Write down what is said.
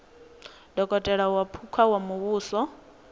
dokotela wa phukha wa muvhuso